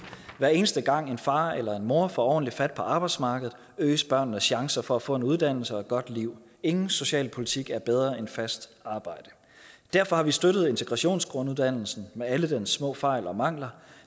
hver eneste gang en far eller mor får ordentligt fat på arbejdsmarkedet øges børnenes chancer for at få en uddannelse og et godt liv ingen socialpolitik er bedre end fast arbejde derfor har vi støttet integrationsgrunduddannelsen med alle dens små fejl og mangler